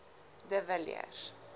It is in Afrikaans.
de villiers